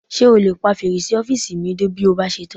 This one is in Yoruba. Ṣé o lè pa fèrèsé ọ́fìsì mi dé bí o bá ṣe tán?